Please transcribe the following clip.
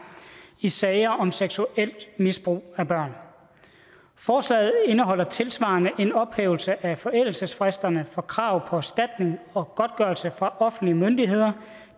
i sager om seksuelt misbrug af børn forslaget indeholder tilsvarende en ophævelse af forældelsesfristerne for krav på erstatning og godtgørelse fra offentlige myndigheder